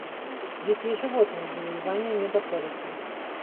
дикие животные завоевание мегаполиса